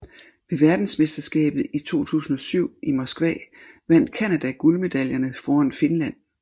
Ved verdensmesterskabet i 2007 i Moskva vandt Canada guldmedaljerne foran Finland